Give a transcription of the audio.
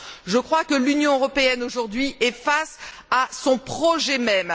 Je crois que l'Union européenne, aujourd'hui, est face à son projet même.